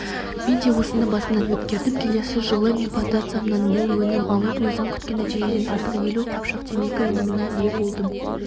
мен де осыны басымнан өткердім келесі жылы мен плантациямнан мол өнім алып өзім күткен нәтижеден артық елу қапшық темекі өніміне ие болдым